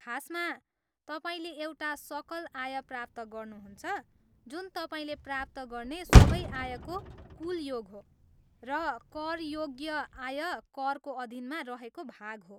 खासमा, तपाईँले एउटा सकल आय प्राप्त गर्नुहुन्छ, जुन तपाईँले प्राप्त गर्ने सबै आयको कुल योग हो, र कर योग्य आय करको अधीनमा रहेको भाग हो।